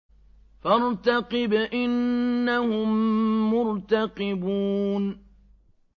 فَارْتَقِبْ إِنَّهُم مُّرْتَقِبُونَ